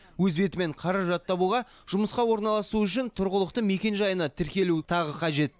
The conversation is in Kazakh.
өз бетімен қаражат табуға жұмысқа орналасу үшін тұрғылықты мекенжайына тіркелу тағы қажет